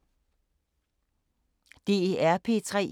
DR P3